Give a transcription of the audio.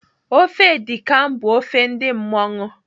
Ofe edi kan bụ ofe ndị mmọṅụ.